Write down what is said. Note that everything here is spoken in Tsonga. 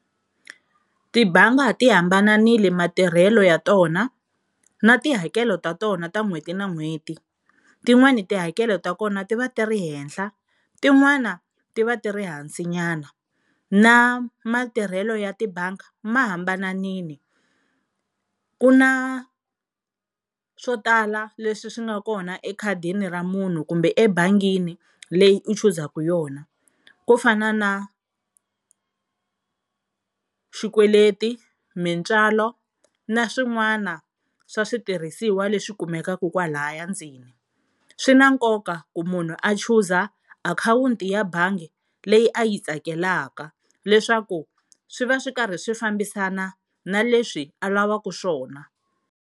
Tibangi ti hambanile matirhelo ya tona na tihakelo ta tona ta n'hweti na n'hweti, tin'wani tihakelo ta kona ti va ti ri henhla tin'wana ti va ti ri hansinyana na matirhelo ya tibangi ma hambananile, ku na swo tala leswi swi nga kona ekhadini ra munhu kumbe ebangini leyi u chuzaka yona kufana na xikweleti, mintswalo na swin'wana swa switirhisiwa leswi kumekaka kwalaya ndzeni. Swi na nkoka ku munhu a chuza akhawunti ya bangi leyi a yi tsakelaka leswaku swi va swi karhi swi fambisana na leswi a lavaka swona.